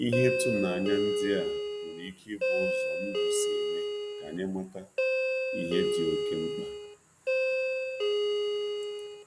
Ihe Ihe ịtụnanya ndị a nwere ike ịbụ ụzọ ndụ si eme ka anyị mata ihe dị okeh mkpa